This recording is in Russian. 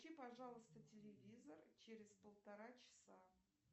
включи пожалуйста телевизор через полтора часа